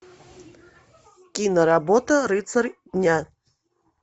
киноработа рыцарь дня